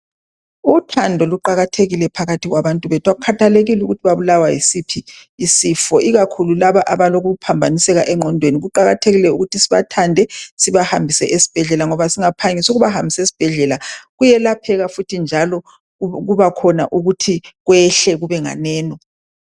Uthando luqakathekile phakathi kwabantu bethu akukhathekile ukuthi ubulawa yisiphi isifo ikakhulu laba abalokuphambaniseka engqondweni kuqakathekile ukuthi sibathande sibahambise esibhedlela ngoba singaphangisa ukubahambisa esibhedlela kuyelapheka futhi njalo kuba khona ukuthi kwehla kube nganeno.